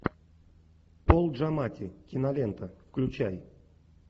пол джаматти кинолента включай